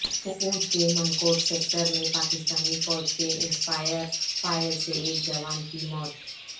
پونچھ کے منکوٹ سیکٹر میں پاکستانی فوج کے اسنائپر فائر سے ایک جوان کی موت